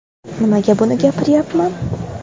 Nimaga buni gapiryapman?